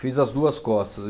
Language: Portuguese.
Fiz as duas costas.